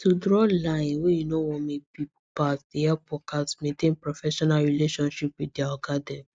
to draw line wey you no want make people pass dey help workers maintain professional relationships with their oga dem